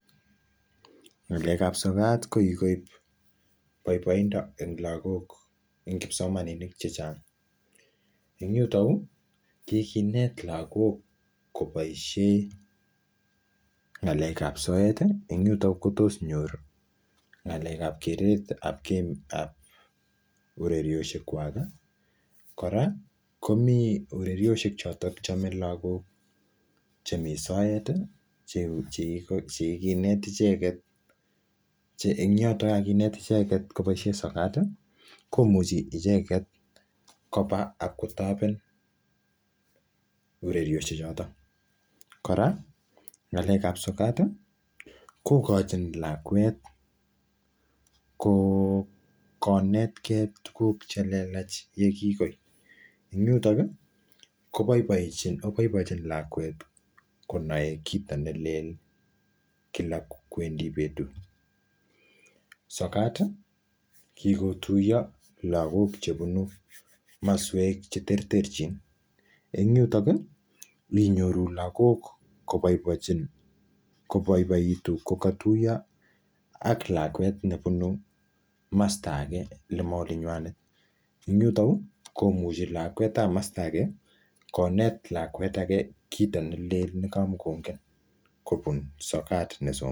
ngalekab sokat kokikoib boiboindo en lagok en kipsomanink chechang en yuton yuu kokinet lagok kopoishen ngaleb soeti en yuton yuu kotos nyor ngalekab keretab urerioshekwaki kora komi urerioshek choton chome lagok chemi soeti chekikinet icheket che en yoton yekakinet icheket koboishen sokat komuchi icheket koba abkotopen urerioshe choton kora ngalekab sokat kokochin lakwet konetkee tuguk chelelach yekikoi en yotoni koboibienchin lakwet konoe kito nelel kila kwendi betut sokat kikotuyo lagok chebunu komoswek cheterterchin en yuton ki inyoru lagok koboichin koboiboitu yekotuyo ak lakwet nebunu kamsta ake nemo olinywan en yuto yuu komuchi konet lakwetab komosto ake konet lakwet ake kito nelel negomokongen kobun soka nesomoni